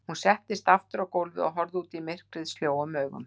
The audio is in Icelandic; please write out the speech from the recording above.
Hún settist aftur á gólfið og horfði út í myrkrið sljóum augum.